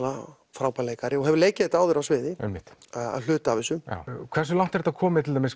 frábær leikari og hefur leikið þetta áður á sviði einmitt hluta af þessu hversu langt er þetta komið